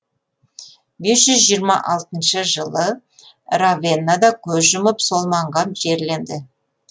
бес жүз жиырма алтыншы жылы равеннада көз жұмып сол маңға жерленді